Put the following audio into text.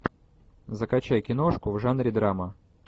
закачай киношку в жанре драма